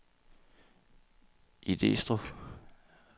Idestrup